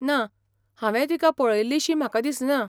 ना, हांवेंय तिका पळयिल्लीशी म्हाका दिसना.